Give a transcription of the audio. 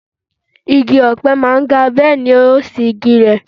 Igi ọpẹ máa ń ga, bẹ́ẹ̀ni yóò sì gbìnlẹ̀.